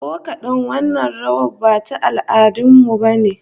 Ko kadan, wannan rawar ba ta al'adun mu bane